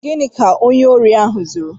Gịnị ka onye órí ahụ zụrụ?